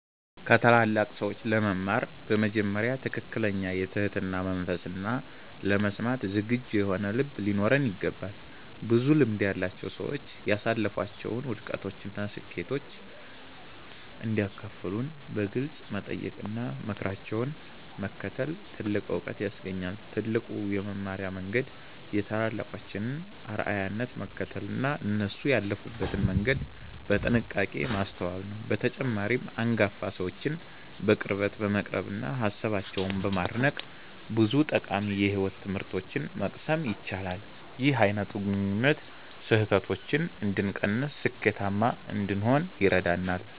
ከታላላቅ ሰዎች ለመማር በመጀመሪያ ትክክለኛ የትህትና መንፈስና ለመስማት ዝግጁ የሆነ ልብ ሊኖረን ይገባል። ብዙ ልምድ ያላቸው ሰዎች ያሳለፏቸውን ውድቀቶችና ስኬቶች እንዲያካፍሉን በግልጽ መጠየቅና ምክራቸውን መከተል ትልቅ ዕውቀት ያስገኛል። ትልቁ የመማሪያ መንገድ የታላላቆችን አርአያነት መከተልና እነሱ ያለፉበትን መንገድ በጥንቃቄ ማስተዋል ነው። በተጨማሪም፣ አንጋፋ ሰዎችን በቅርበት በመቅረብና ሃሳባቸውን በማድነቅ ብዙ ጠቃሚ የሕይወት ትምህርቶችን መቅሰም ይቻላል። ይህ አይነቱ ግንኙነት ስህተቶችን እንድንቀንስና ስኬታማ እንድንሆን ይረዳናል።